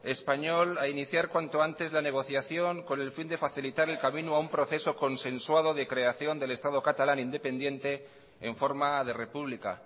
español a iniciar cuanto antes la negociación con el fin de facilitar el camino a un proceso consensuado de creación del estado catalán independiente en forma de república